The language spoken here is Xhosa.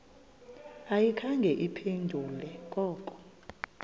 ayikhange iphendule koko